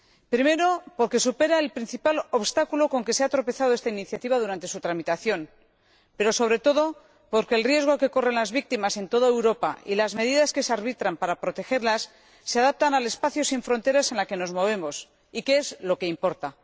Primero, porque supera el principal obstáculo con que se ha tropezado esta iniciativa durante su tramitación, pero sobre todo porque el riesgo que corren las víctimas en toda Europa y las medidas que se arbitran para protegerlas se adaptan al espacio sin fronteras en el que nos movemos, que es lo que importa.